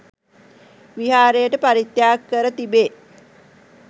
විහාරයට පරිත්‍යාග කර තිබේ.